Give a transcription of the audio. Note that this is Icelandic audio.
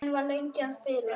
Hann var lengi að spila.